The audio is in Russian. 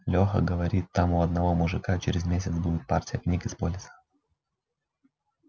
лёха говорит там у одного мужика через месяц будет партия книг из полиса